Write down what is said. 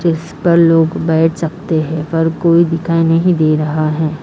जिस पर लोग बैठ सकते हैं पर कोई दिखाई नहीं दे रहा है।